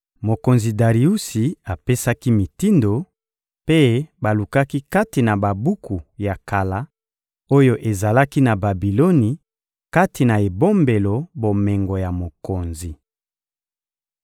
Mokonzi Dariusi apesaki mitindo, mpe balukaki kati na babuku ya kala oyo ezalaki na Babiloni, kati na ebombelo bomengo ya mokonzi.